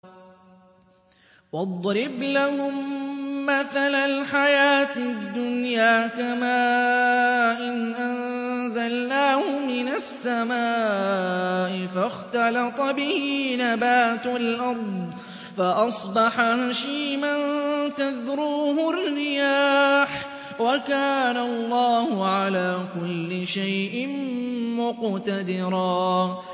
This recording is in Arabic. وَاضْرِبْ لَهُم مَّثَلَ الْحَيَاةِ الدُّنْيَا كَمَاءٍ أَنزَلْنَاهُ مِنَ السَّمَاءِ فَاخْتَلَطَ بِهِ نَبَاتُ الْأَرْضِ فَأَصْبَحَ هَشِيمًا تَذْرُوهُ الرِّيَاحُ ۗ وَكَانَ اللَّهُ عَلَىٰ كُلِّ شَيْءٍ مُّقْتَدِرًا